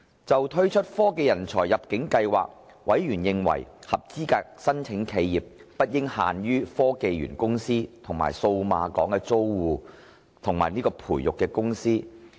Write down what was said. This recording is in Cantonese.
就推出科技人才入境計劃，委員認為合資格申請企業不應限於科技園公司和數碼港的租戶及培育公司。